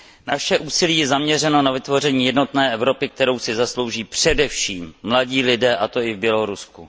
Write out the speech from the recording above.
Naše úsilí je zaměřeno na vytvoření jednotné Evropy, kterou si zaslouží především mladí lidé, a to i v Bělorusku.